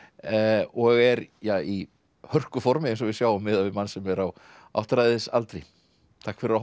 og er ja í hörkuformi eins og við sjáum miðað við mann sem er á áttræðisaldri takk fyrir að horfa